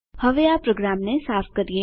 હવે આ પ્રોગ્રામને સાફ કરીએ